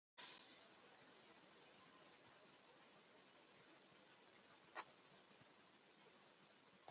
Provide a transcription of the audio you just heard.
Frekara lesefni á Vísindavefnum: Hvað var gert við hina látnu hjá neanderdalsmönnum?